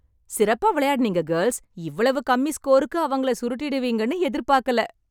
சிறப்பா விளையாடினீங்க, கேர்ள்ஸ். இவ்வளவு கம்மி ஸ்கோருக்கு அவங்கள சுருட்டிடுவீங்கன்னு எதிர்பார்க்கல.